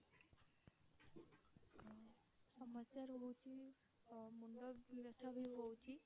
ଆଉ ସମସ୍ୟା ରହୁଛି ମୁଣ୍ଡ ବ୍ୟଥା ବି ହଉଛି